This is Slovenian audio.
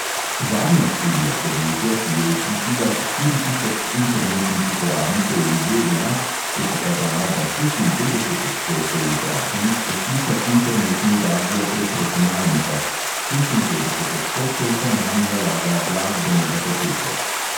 Zadnja študija podjetja, ki je vključila štiri tisoč internetnih uporabnikov v ZDA, je pokazala, da šestinpetdeset odstotkov vprašanih posluša internetni radio prek računalnika, šestinpetdeset odstotkov pa nanj nalaga glasbene datoteke.